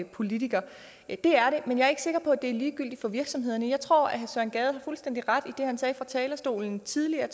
politiker men jeg er ikke sikker på at det er ligegyldigt for virksomhederne jeg tror at herre søren gade har fuldstændig ret i det han sagde fra talerstolen tidligere